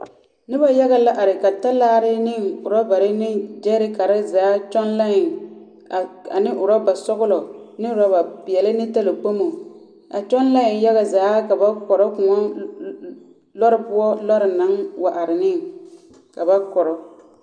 Noba yage la are ka talaare ne orͻbare ne gyԑԑrekare zaa kyoŋ lai a ane orͻba sͻgelͻ ne orͻba peԑle ne talakpomo a kyoŋ lai yaga zaa kaba kͻrͻ kõͻ lͻ lͻ lͻre poͻ lͻre naŋ wa are neŋ ka ba kͻrͻ.